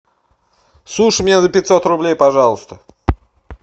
суши мне за пятьсот рублей пожалуйста